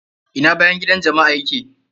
Ina bayan gidan jama'a ya ke?